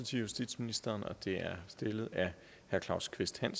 synes ministeren også